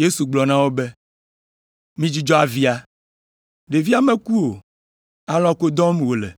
Yesu gblɔ na wo be, “Midzudzɔ avia. Ɖevia meku o, alɔ̃ ko dɔm wòle!”